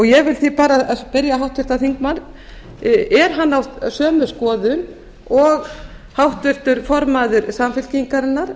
ég vil því bara spyrja háttvirtan þingmann er að á sömu skoðun og háttvirtur formaður samfylkingarinnar